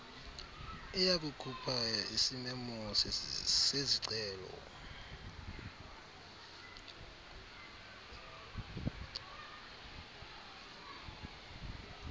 iyakukhupha isimemo sezicelo